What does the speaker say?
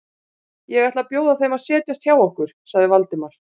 Ég ætla að bjóða þeim að setjast hjá okkur sagði Valdimar.